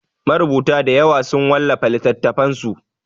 Marubuta dayawa sun wallafa littatafansu.